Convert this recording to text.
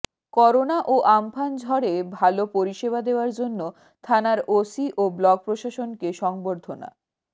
corona ও Amphan ঝড়ে ভালো পরিষেবা দেওয়ার জন্য থানার ওসি ও ব্লক প্রশাসনকে সংবর্ধনা